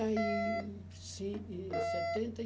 e cinco. Em setenta